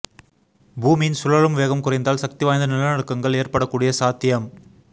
பூமியின் சுழலும் வேகம் குறைந்தால் சக்தி வாய்ந்த நில நடுக்கங்கள் ஏற்படக்கூடிய சாத்தியம்